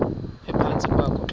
ephantsi kwakho xa